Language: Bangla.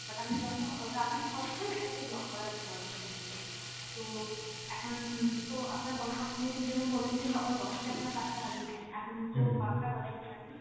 but আমি যত তাড়াতাড়ি possible এটাকে block করার অ্যাঁ চেষ্টা করছি। তো এখন তো আপনার যেমন বললেন যে সকাল দশটাই আপনার card টা হারিয়েছে, এখন তো বারোটা বাজে exactly